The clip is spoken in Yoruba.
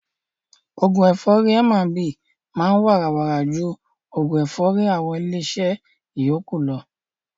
Oògún ẹ̀fọ́rì M&B máa ń wàrà wàrà ju oògún ẹ̀fọ́rì àwọn ilé iṣẹ́ yókù lọ.